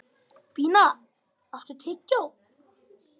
Bína, áttu tyggjó?